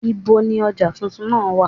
Ibo ni ọjà tuntun náà wà?